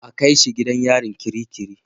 A kai shi gidan yari kirikiri.